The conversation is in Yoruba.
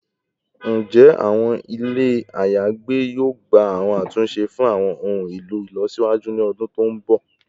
Njẹ awọn ile ayagbe yoo gba awọn atunṣe fun awọn ohun elo ilọsiwaju ni ọdun to nbọ?